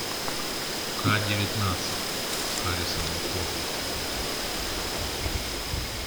к девятнадцать с харрисоном фордом